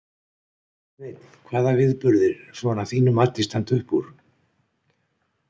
Sveinn: Hvaða viðburðir, svona að þínu mati, standa upp úr?